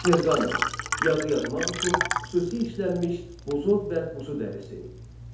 Perqament yazı yazmaq üçün xüsusi işlənmiş buzov və quzu dərisidir.